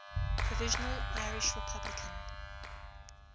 provisional irish republican